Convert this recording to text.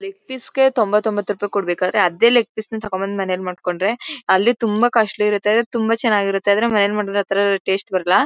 Leg ಫೀಸ್ಗೆ ಥೋಮಬತ್ ಒಂಬತು ರುಪಾಯೀ ಕೊಡ್ಬೇಕಾದ್ರೆ ಅದೇ ಲೆಗ್ ಫೀಸ್ ತಕೊಂಡ್ ಬಂದು ಮನೇಲ್ ಮಾಡ್ಕೊಂಡ್ರೆ ಅಲ್ಲಿ ತುಂಬಾ ಕಾಸ್ಟ್ಲಿ ಇರುತ್ತೆ ತುಂಬಾ ಚೆನ್ನಾಗಿರುತ್ತೆ. ಆದ್ರೆ ಮನೆಲ್ ಮಾಡಿದ್ ಆ ತರ ಟೇಸ್ಟ್ ಬರಲ್ಲ.